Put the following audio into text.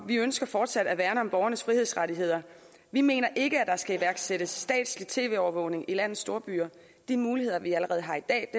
vi ønsker fortsat at værne om borgernes frihedsrettigheder vi mener ikke at der skal iværksættes statslig tv overvågning i landets storbyer de muligheder vi allerede har i dag